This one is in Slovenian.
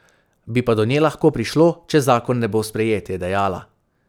Bi pa do nje lahko prišlo, če zakon ne bo sprejet, je dejala.